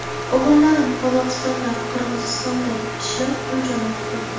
O‘g‘illarim Qozog‘istonda, Qirg‘izistonda ishlab, pul jo‘natib turdi.